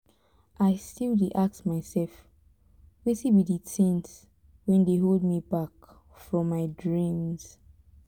i still dey ask myself wetin be di things wey dey hold me back from my dreams